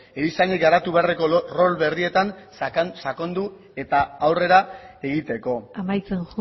erizainek garatu beharreko rol berrietan sakondu eta aurrera egiteko amaitzen